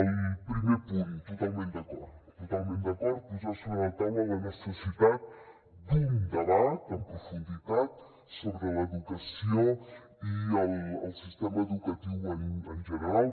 el primer punt totalment d’acord totalment d’acord amb posar sobre la taula la necessitat d’un debat en profunditat sobre l’educació i el sistema educatiu en general